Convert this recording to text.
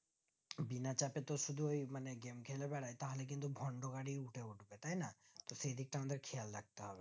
বিনা চেইপ তো শুধু ওই মানে game খেলে বেড়াই তাহলে কিন্তু ভোন্দবাড়ি উঠে উঠবে তাইনা তো সেই দিকটা আমাদের খেয়াল রাখতে হবে